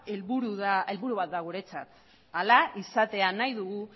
helburu bat da guretzat hala izatea nahi dugu